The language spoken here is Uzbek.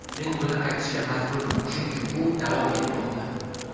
Men buni aytishga majburman, chunki bu davom etmoqda.